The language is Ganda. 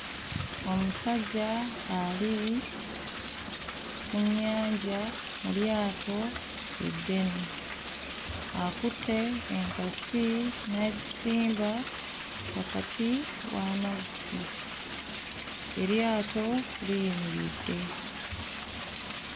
Omusajja ali mu nnyanja mu lyato eddene akutte enkasi n'agisimba wakati w'amazzi eryato liyimiridde.